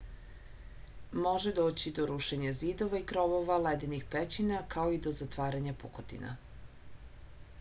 može doći do rušenja zidova i krovova ledenih pećina kao i do zatvaranja pukotina